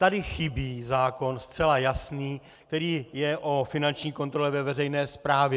Tady chybí zákon zcela jasný, který je o finanční kontrole ve veřejné správě.